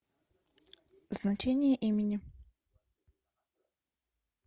значение имени